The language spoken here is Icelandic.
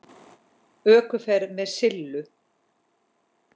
ÖKUFERÐ MEÐ SILLU